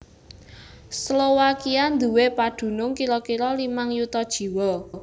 Slowakia nduwé padunung kira kira limang yuta jiwa